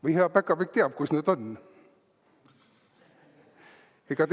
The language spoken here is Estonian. Või hea päkapikk teab, kus need on?